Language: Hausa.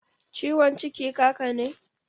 Ciwon ciki kaka ne?